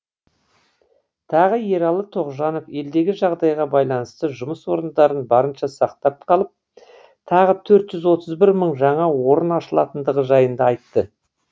тағы ералы тоғжанов елдегі жағдайға байланысты жұмыс орындарын барынша сақтап қалып тағы төрт жүз отыз бір мың жаңа орын ашылатындығы жайында айтты